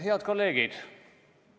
Head kolleegid!